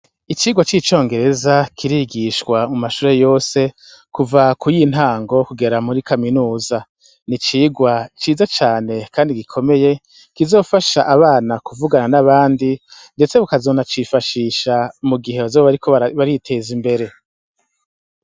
Icigwa ci congereza kirigishwa mu mashure yose, kuva kuy' intango kugera muri kaminuza n' icigwa ciza cane kandi gikomeye kizofash' abana kuvugana n' abandi, mbese bakazona cifashisha mugihe bazoba bari kwitez' imbere.